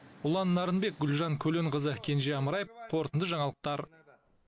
ұлан нарынбек гүлжан көленқызы кенже амраев қорытынды жаңалықтар